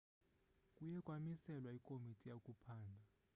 kuye kwamiselwa ikomiti yokuphanda